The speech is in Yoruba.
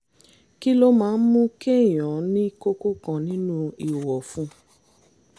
kí ló máa ń mú kéèyàn ní kókó kan nínú ihò ọ̀fun?